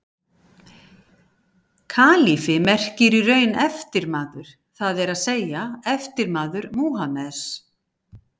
Kalífi merkir í raun eftirmaður, það er að segja eftirmaður Múhameðs.